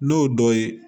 N'o dɔ ye